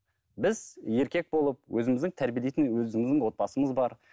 біз еркек болып өзіміздің тәрбиелейтін өзіміздің отбасымыз бар